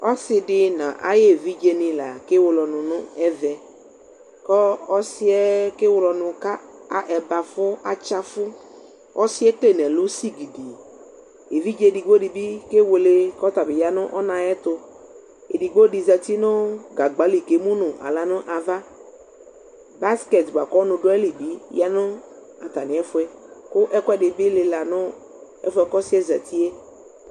Ɔsɩdɩ n'a ayevidzenɩ la kewele ɔnʋ nʋ ɛvɛ Kɔ ɔsɩɛ kewele ɔnʋ ka a ɛbɛafʋ katsɩ afʋ Ɔsɩɛ ekele ɛlʋ sigidi; evidzedigbodɩ bɩ kewele k'ɔtabɩ ya nʋ ɔnaayɛtʋ Edigbodɩ zati nʋ gagba li k'emu nʋ aɣla nʋ ava Bokiti bʋa k'ɔnʋ dʋ ayili bɩ yǝ nʋ atamɩɛfʋɛ , kʋ ɛkʋɛdɩ bɩ lɩla nʋ ɛfʋɛ k'ɔsɩɛ zatie '